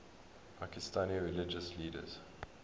pakistani religious leaders